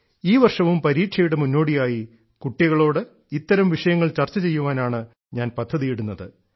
ഈ വർഷവും പരീക്ഷയുടെ മുന്നോടിയായി കുട്ടികളോട് ഇത്തരം വിഷയങ്ങൾ ചർച്ച ചെയ്യാനാണ് ഞാൻ പദ്ധതി ഇടുന്നത്